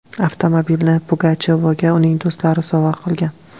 Avtomobilni Pugachovaga uning do‘stlari sovg‘a qilgan.